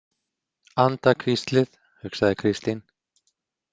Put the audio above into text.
Andahvíslið, hugsaði Kristín.